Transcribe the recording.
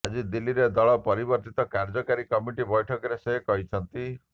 ଆଜି ଦିଲ୍ଲୀରେ ଦଳର ପରିବର୍ଦ୍ଧିତ କାର୍ଯ୍ୟକାରୀ କମିଟି ବୈଠକରେ ସେ କହିଛନ୍ତି